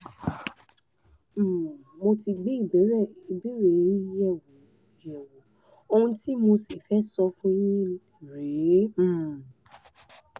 um mo ti gbé ìbéèrè yín yẹ̀wò yẹ̀wò ohun tí mo sì fẹ́ sọ fún yín rèé um